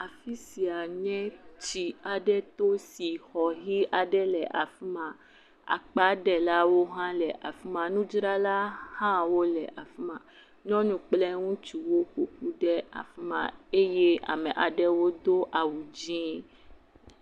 Afi sia nye tsi aɖe to si xɔ yi aɖe le afi ma. Akpaɖelawo hã le afi ma. Nudzrala hã wo le afi ma. Nyɔnu kple ŋutsuwo ƒoƒu ɖe afi ma eye ame aɖewo do awu dzi.